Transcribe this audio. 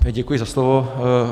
Děkuji za slovo.